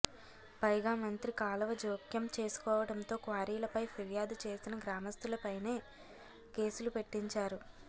పైగా మంత్రి కాలవ జోక్యం చేసుకోవడంతో క్వారీలపై ఫిర్యాదు చేసిన గ్రామస్తులపైనే కేసులు పెట్టించారు